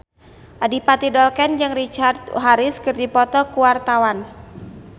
Adipati Dolken jeung Richard Harris keur dipoto ku wartawan